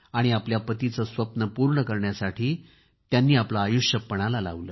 आपल्या पतीचे स्वप्न पूर्ण करण्यासाठी त्यांनी आपले आयुष्य पणाला लावले